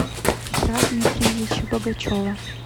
петра дмитриевича богачева